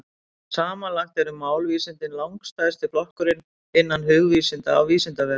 Samanlagt eru málvísindin langstærsti flokkurinn innan hugvísinda á Vísindavefnum.